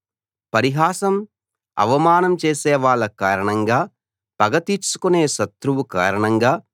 పరిహాసం అవమానం చేసే వాళ్ళ కారణంగా పగ తీర్చుకునే శత్రువు కారణంగా